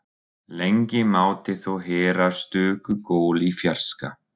Lengi mátti þó heyra stöku gól í fjarska.